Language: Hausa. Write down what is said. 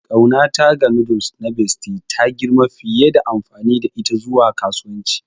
Ƙaunata ga noodles na Bestie ta girma fiye da amfani da ita zuwa kasuwanci.